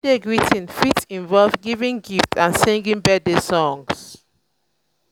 day greeting fit involve giving gifts and singing birthday songs